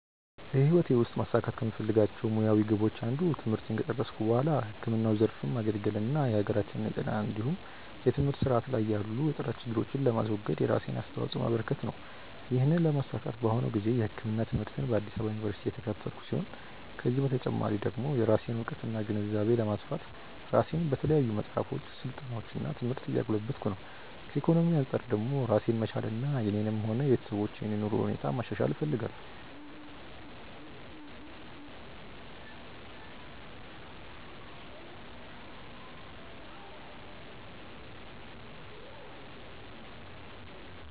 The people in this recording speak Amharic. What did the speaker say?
በህይወቴ ውስጥ ማሳካት ከምፈልጋቸው ሙያዊ ግቦች አንዱ ትምህርቴን ከጨረስኩ በኋላ ህክምናው ዘርፍ ማገልገል እና የሀገራችንን የጤና እንዲሁም የትምህርት ስርዓት ላይ ያሉ የጥራት ችግሮችን ለማስወገድ የራሴን አስተዋጾ ማበረከት ነው። ይህንን ለማሳካት በአሁኑ ጊዜ የህክምና ትምህርትን በአዲስ አበባ ዩኒቨርሲቲ እየተከታተልኩ ሲሆን ከዚህ በተጨማሪ ደግሞ የራሴን እውቀትና ግንዛቤ ለማስፋት ራሴን በተለያዩ መጽሐፎች፣ ስልጠናዎች እና ትምህርት እያጎለበትኩ ነው። ከኢኮኖሚ አንጻር ደግሞ ራሴን መቻልና የኔንም ሆነ የቤተሰቦችን የኑሮ ሁኔታ ማሻሻል እፈልጋለሁ።